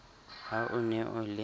ha o ne o le